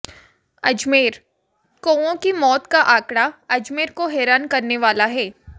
अजमेरः कौओं की मौत का आंकड़ा अजमेर को हैरान करने वाला है